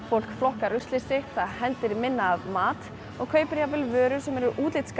fólk flokkar ruslið sitt betur hendir minna af mat og kaupir gjarnan vörur sem eru